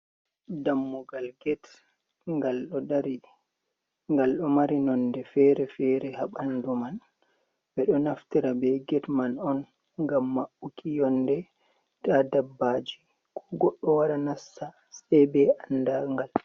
Dammugal get, ngal do dari; nonɗe fere-fere haa ɓandu man. Ɓeɗo naftira ɓe get man on ngam mabuki yonde ta ɗabbaji ko goɗɗo wara nasta se be andaa'ngal